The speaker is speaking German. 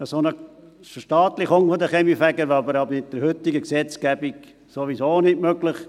Eine solche Verstaatlichung der Kaminfeger wäre aber mit der heutigen Gesetzgebung sowieso nicht möglich.